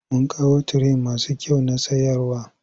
Mun kawo tire masu kyau na sayarwa.